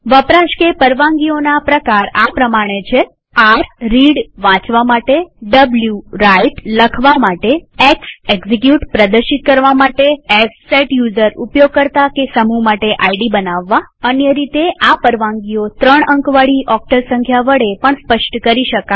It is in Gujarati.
વપરાશ કે પરવાનગીઓના પ્રકાર આ પ્રમાણે છે160 r રીડ એટલે કે વાચવા માટે w રાઇટ એટલે કે લખવા માટે x એક્ઝિક્યુટ એટલે કે પ્રદર્શિત કરવા માટે s સેટ યુઝર એટલે કે ઉપયોગકર્તા કે સમૂહ માટે આઈડી બનાવવા અન્ય રીતેઆ પરવાનગીઓ ત્રણ અંકવાળી ઓક્ટલ સંખ્યા વડે પણ સ્પષ્ટ કરી શકાય